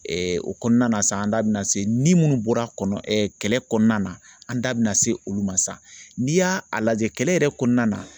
o kɔnɔna na sa an da bɛna se ni munnu bɔra kɔnɔ ɛ kɛlɛ kɔnɔna na an da bɛna se olu ma sa, n'i y'a a lajɛ kɛlɛ yɛrɛ kɔnɔna na.